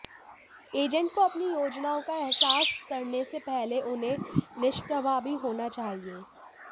agent को अपनी योजनाओं का एहसास करने से पहले उन्हें निष्प्रभावी होना चाहिए